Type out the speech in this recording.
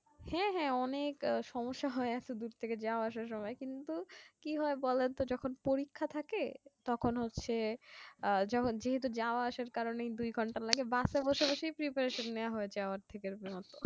হ্যাঁ হ্যাঁ অনেক সমস্যা হয়ে আছে দূর থেকে যাওয়া আসার সময় কিন্তু কি হয় বলেন তো যখন পরীক্ষা থাকে তখন হচ্ছে আহ যেহেতু যাওয়া আসার কারণেই দুই ঘন্টা লাগে bus এ বসে বসেই preparation নেওয়া হয়ে যাই অর্ধেকের মতো